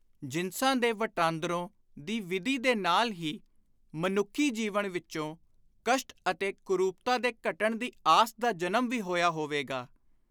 ਜਿਨਸਾਂ ਦੇ ਵਟਾਂਦਰੋ ਦੀ ਵਿਧੀ ਦੇ ਨਾਲ ਹੀ ਮਨੁੱਖੀ ਜੀਵਨ ਵਿਚੋਂ ਕਸ਼ਟ ਅਤੇ ਕੁਰੂਪਤਾ ਦੇ ਘਟਣ ਦੀ ਆਸ ਦਾ ਜਨਮ ਵੀ ਹੋਇਆ ਹੋਵੇਗਾ।